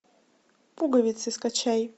пуговицы скачай